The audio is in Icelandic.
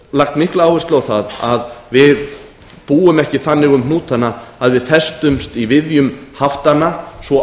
lagt mikla áherslu á það að við búum ekki þannig um hnútana að við festumst í viðjum haftanna svo